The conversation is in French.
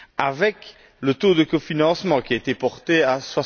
avec le taux de cofinancement, qui a été porté à